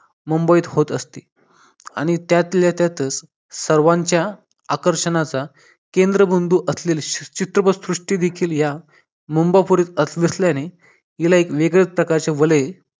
मुंबईत होत असते आणि त्यातल्या त्यातच सर्वांच्या आकर्षणाचा केंद्र बंधू असलेले चित्रपट सृष्टी देखील या मुंबापुरीत असं असल्याने याला एक वेगळ्या प्रकारचे वलय